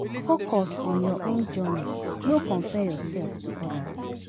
Focus on your own journey, no compare yourself to others.